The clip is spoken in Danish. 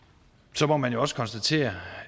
så må man jo også konstatere